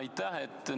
Aitäh!